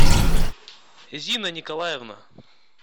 зина николаевна